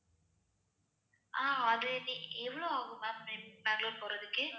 ஆஹ் அதுக்கு எவ்வளவு ஆகும் ma'am ரெண்~ பெங்களூர் போறதுக்கு